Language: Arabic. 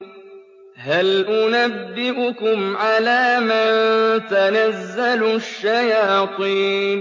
هَلْ أُنَبِّئُكُمْ عَلَىٰ مَن تَنَزَّلُ الشَّيَاطِينُ